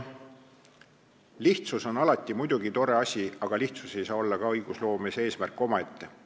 Lihtsus on muidugi tore asi, aga lihtsus ei saa olla ka õigusloomes eesmärk omaette.